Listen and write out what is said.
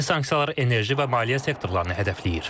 Yeni sanksiyalar enerji və maliyyə sektorlarını hədəfləyir.